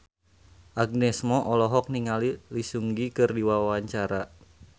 Agnes Mo olohok ningali Lee Seung Gi keur diwawancara